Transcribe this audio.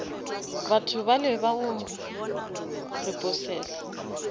batho bale ba go repossesa